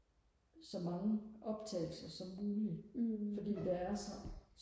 så mange optagelser som muligt fordi der er så